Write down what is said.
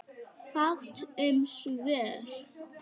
Fátt um svör.